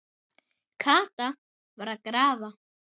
Kata var að grafa.